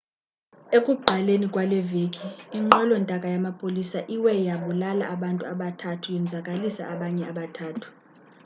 ekuqaleni kwaleveki inqwelontaka yamapolisa iwe yabulala abantu abathathu yonzakalisa abanye abathathu